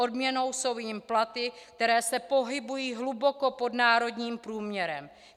Odměnou jsou jim platy, které se pohybují hluboko pod národním průměrem.